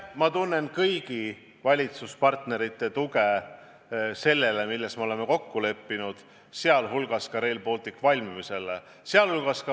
Ma tunnen kõigi valitsuspartnerite tuge sellele, milles me oleme kokku leppinud, sh Rail Balticu valmimisele.